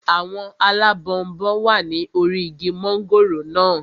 Àwọn alábọnbon wà ní orí igi mọ́ngòrò naa